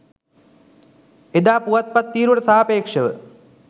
එදා පුවත්පත් තීරුවට සාපේක්ෂව